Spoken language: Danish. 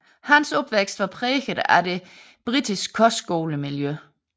Hans opvækst var præget af det britiske kostskolemiljø